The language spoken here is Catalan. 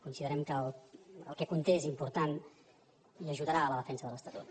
considerem que el que conté és important i ajudarà a la defensa de l’estatut